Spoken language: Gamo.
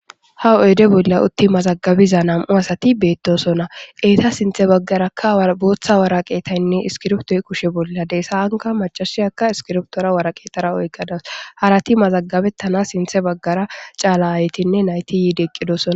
Ha oyde bolla utti mazagabiza nam'u asati beettosona eeta sinthe baggarakka booththa waraqeetaynne iskirptoy kushe bolla deessa anka macasiyaka iskirptora waraqeetara oykkadas harati mazagabettana sinthe baggara caala haytinne nayti yiidi eqqidosona.